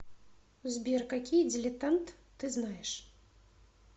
сбер какие дилетант ты знаешь